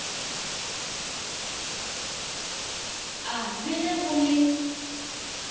a le ge go le